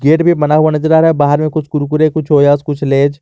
Gate भी बना हुआ नजर आ रहा है बाहर में कुछ कुरकुरे कुछ ओयस कुछ लेज ।